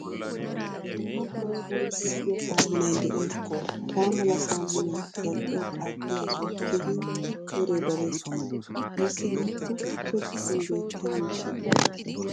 Dumma dumma sooni giigiyaa saamunay de'ees. Hagaamala saamunay zal'iyawu qaaxiyaa asawu keehin wore de'ees. Ayssi giiko so giddon beetiyaa miishshaa gidiyo gishshasa.